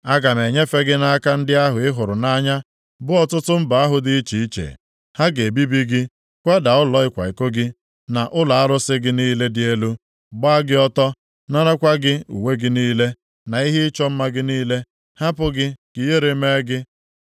Aga m enyefe gị nʼaka ndị ahụ ị hụrụ nʼanya, bụ ọtụtụ mba ahụ dị iche iche. Ha ga-ebibi gị, kwada ụlọ ịkwa iko gị, na ụlọ arụsị gị niile dị elu, gbaa gị ọtọ, narakwa gị uwe gị niile, na ihe ịchọ mma gị niile, hapụ gị ka ihere mee gị.